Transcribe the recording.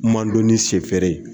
Mandɔni shɛ fɛɛrɛ ye.